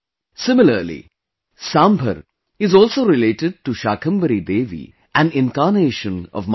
Similarly, Sambhar is also related to Shakambhari Devi, an incarnation of Maa Durga